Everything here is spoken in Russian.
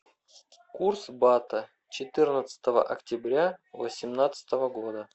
курс бата четырнадцатого октября восемнадцатого года